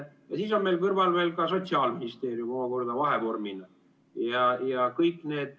Ja siis on seal kõrval veel omakorda Sotsiaalministeerium vahevormina.